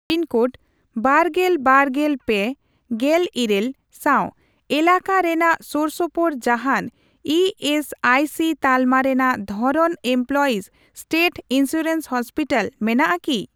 Pin code ᱵᱟᱨᱜᱮᱞ ᱵᱟᱨᱜᱮᱞ ᱯᱮ, ᱜᱮᱞ ᱤᱨᱟᱹᱞ ᱥᱟᱣ ᱮᱞᱟᱠᱟ ᱨᱮᱱᱟᱜ ᱥᱳᱨᱥᱳᱯᱳᱨ ᱡᱟᱦᱟᱱ ᱤ ᱮᱥ ᱟᱭ ᱥᱤ ᱛᱟᱞᱢᱟ ᱨᱮᱱᱟᱜ ᱫᱷᱚᱨᱚᱱ ᱮᱢᱯᱞᱚᱭᱤᱥ ᱥᱴᱮᱴ ᱤᱱᱥᱩᱨᱮᱱᱥ ᱦᱚᱥᱯᱤᱴᱟᱞ ᱢᱮᱱᱟᱜᱼᱟ ᱠᱤ ?